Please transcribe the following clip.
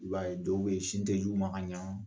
I b'a ye dɔw bɛ yen sin tɛ d'u ma ka ɲɛ